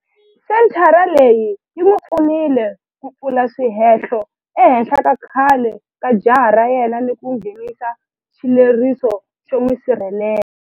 Senthara leyi yi n'wi pfunile ku pfula swihehlo ehenhla ka khale ka jaha ra yena ni ku nghenisa xileriso xo n'wi sirhelela.